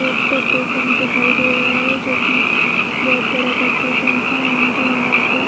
एक petrol pump दिखाई दे रहा है जो की बोहत बड़ा पेट्रोल पंप है एंड यहाँ पे --